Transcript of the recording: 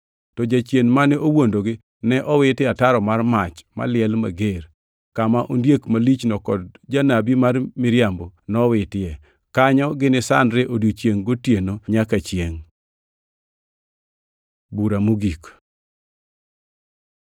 To Jachien, mane owuondogi ne owit e ataro mar mach maliel mager, kama ondiek malichno kod janabi mar miriambo nowitie. Kanyo gini sandre odiechiengʼ gi otieno nyaka chiengʼ. Bura mogik